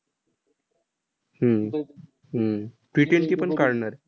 हम्म हम्म Ttwenty पण काढणार आहे.